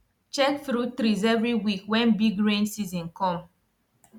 check fruit threes every week when big rain season come